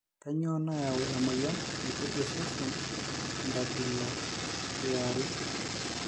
kainyioo nayau emoyian naitejia osese enkabila ya are?